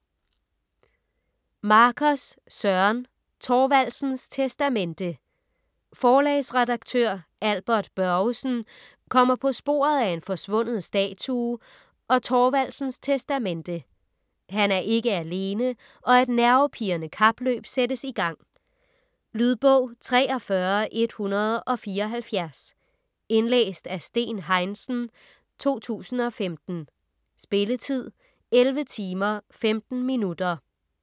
Markers, Søren: Thorvaldsens testamente Forlagsredaktør Albert Børgesen kommer på sporet af en forsvunden statue og Thorvaldsens testamente. Han er ikke alene og et nervepirrende kapløb sættes i gang. Lydbog 43174 Indlæst af Steen Heinsen, 2015. Spilletid: 11 timer, 15 minutter.